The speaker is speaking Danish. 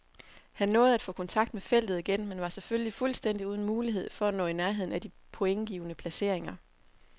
Han nåede at få kontakt med feltet igen, men var selvfølgelig fuldstændig uden mulighed for at nå i nærheden af de pointgivende placeringer.